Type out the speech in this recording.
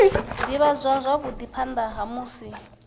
ivhadzwa zwavhui phana ha musi